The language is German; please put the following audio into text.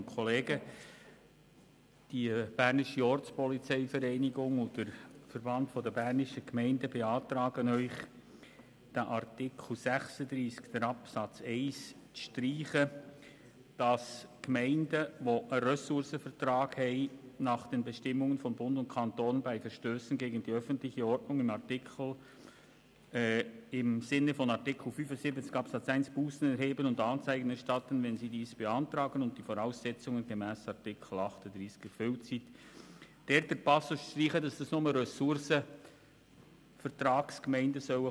Die BOV und der VBG beantragen dem Grossen Rat, in Artikel 36 Absatz 1, wonach die Gemeinden, die einen Ressourcenvertrag haben, «nach den Bestimmungen von Bund und Kanton bei Verstössen gegen die öffentliche Ordnung im Sinne von Artikel 75 Absatz 1 Bussen erheben und Anzeigen erstatten [können], wenn sie dies beantragen und die Voraussetzungen gemäss Artikel 38 erfüllt sind.», den Passus «die einen Ressourcenvertrag gemäss Artikel 25 ff.